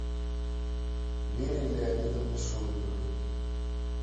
вере леонидовне шлыковой